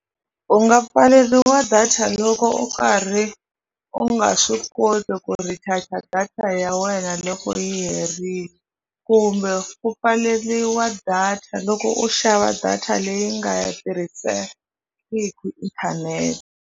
U nga pfaleriwa data loko u karhi u nga swi koti ku recharger data ya wena loko yi herile kumbe u pfaleriwa data loko u xava data leyi nga yi tirhisengiku inthanete.